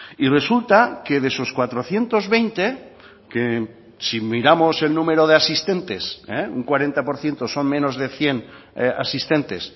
y resulta que de esos cuatrocientos veinte que si miramos el número de asistentes un cuarenta por ciento son menos de cien asistentes